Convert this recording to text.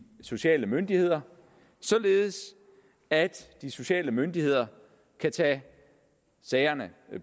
sociale myndigheder således at de sociale myndigheder kan tage sagerne